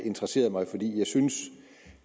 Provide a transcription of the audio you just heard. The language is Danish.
interesseret mig jeg synes